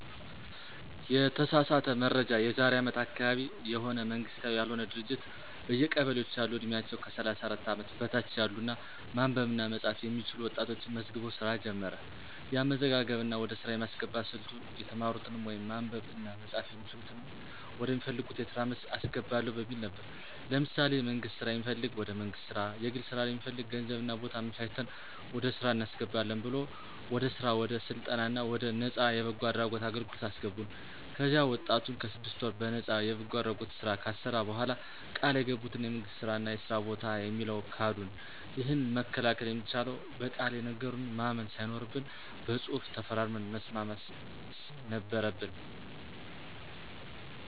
የተሳሳተ መረጃ የዛሬ አመት አካባቢ የሆነ መንግስታዊ ያልሆነ ድርጅት በየቀበሌዎች ያሉ ዕድሜያቸው ከ 34 አመት በታች ያሉ እና ማንበብ እና መፃፍ የሚችሉ ወጣቶችን መዝግቦ ሥራ ጀመረ። የአመዘጋገብ እና ወደ ሥራ የማስገባት ሥልቱ የተማሩትንም ወይም ማንበብ እና መጻፍ የሚችሉትንም ወደ ሚፈልጉት የስራ መስክ አስገባለሁ በሚል ነበር። ለምሳሌ የመንግስት ስራ የሚፈልግ ወደ መንግስት ስራ፣ የግል ስራ ለሚፈልግ ገንዘብ እና ቦታ አመቻችተን ወደ ስራ እናስገባለን ብሎ ወደ ስራ ወደ ስልጠና እና ወደ ነፃ የበጎ አድራጎት አገልግለት አሰገቡን። ከዚያ ወጣቱን ስድስት ወር በነጣ የበጎ አድራጎት ስራ ካሰራ በኋላ ቃል የገቡትን የመንግስት ስራ እና የስራ በታ የሚለውን ካዱን። ይህንን መከላከል የሚቻለው በቃል የነገሩንን ማመን ሳይኖርብን በፅሁፍ ተፈራርመን መስማት ነበረበን።